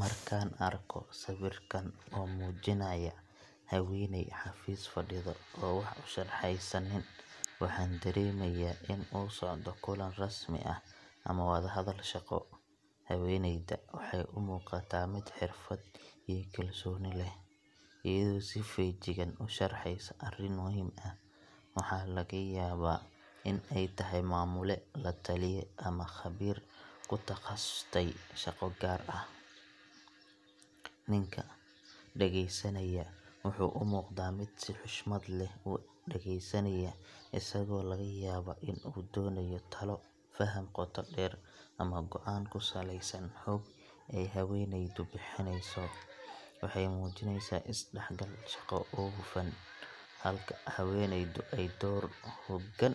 Markaan arko sawirkan oo muujinaya haweeney xafiis fadhida oo wax u sharxaysa nin, waxaan dareemayaa in uu socdo kulan rasmi ah ama wadahadal shaqo. Haweeneyda waxay u muuqataa mid xirfad iyo kalsooni leh, iyadoo si feejigan u sharxaysa arrin muhiim ah waxa laga yaabaa in ay tahay maamule, lataliye, ama khabiir ku takhasustay shaqo gaar ah. Ninka dhageysanaya wuxuu u muuqdaa mid si xushmad leh u dhegeysanaya, isagoo laga yaabo in uu doonayo talo, faham qoto dheer, ama go'aan ku saleysan xog ay haweeneydu bixineyso. Waxay muujinaysaa is-dhexgal shaqo oo hufan, halka haweeneydu ay door hoggaan